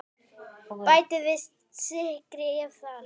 Bætið við sykri ef þarf.